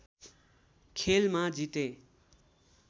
खेलमा जिते